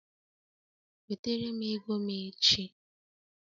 Wetara m ego m echi!